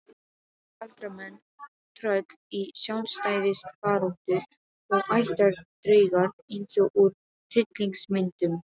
Galdramenn, tröll í sjálfstæðisbaráttu og ættardraugar eins og úr hryllingsmyndum.